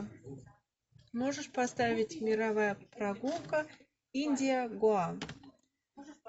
можешь поставить мировая прогулка индия гоа